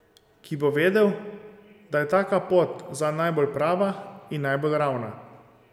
Ki bo vedel, da je taka pot zanj najbolj prava in najbolj ravna.